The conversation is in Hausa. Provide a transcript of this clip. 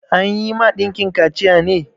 An yi ma ɗanki kaciya ne?